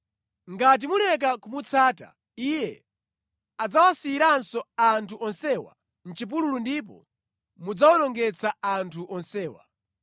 Ngati muleka kumutsata, Iye adzawasiyiranso anthu onsewa mʼchipululu ndipo mudzawonongetsa anthu onsewa.”